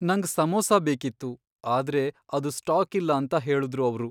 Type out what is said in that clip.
ನಂಗ್ ಸಮೋಸ ಬೇಕಿತ್ತು, ಆದ್ರೆ ಅದು ಸ್ಟಾಕಿಲ್ಲ ಅಂತ ಹೇಳುದ್ರು ಅವ್ರು.